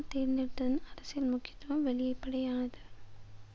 தேர்ந்தெடுத்ததின் அரசியல் முக்கியத்துவம் வெளிப்படையானது